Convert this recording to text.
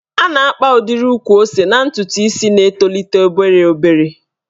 A na-akpa udiri ukwu ose n'ntụtụ isi na-etolite obere obere.